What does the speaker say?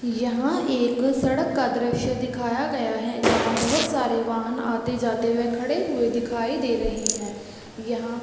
यहाँ एक सड़क का दृश्य दिखाया गया है जहाँ बहुत सारे वाहन आते -जाते हुए खड़े हुए दिखाई दे रहे है यहाँ --